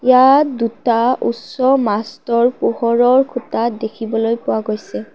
তাত দুটা উচ্চ মাষ্টৰ পোহৰৰ খুঁটা দেখিবলৈ পোৱা গৈছে।